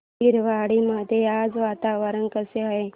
बहिरवाडी मध्ये आज वातावरण कसे आहे